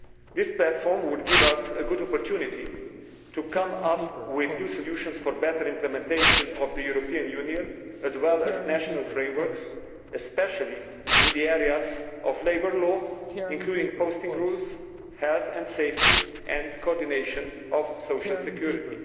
This platform would give us a good opportunity to come up with new solutions for better implementation by the European Union, as well as national frameworks, especially in areas of labour law including posting rules, health and safety and the coordination of social security.